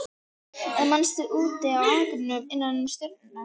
Eða manstu úti á akrinum innan um stjörnurnar.